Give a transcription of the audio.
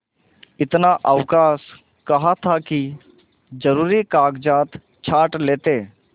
इतना अवकाश कहाँ था कि जरुरी कागजात छॉँट लेते